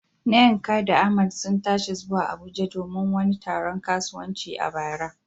Nneka da Ahmad sun tashi zuwa Abuja domin wani taron kasuwanci a bara.